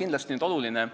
Kindlasti on oluline,